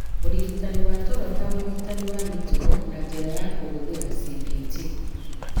Ũrigitani wa toro ta ũrigiti wa mĩtugo na njĩra ya kũhũthĩra cbt